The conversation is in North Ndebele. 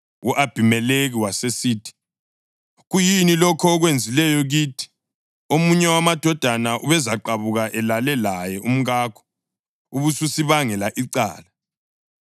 U-Abhimelekhi wasesithi, “Kuyini lokhu okwenzileyo kithi? Omunye wamadoda ubezaqabuka elala laye umkakho, ubususibangela icala.”